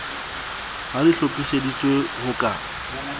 ha di hlophiseditswe ho ka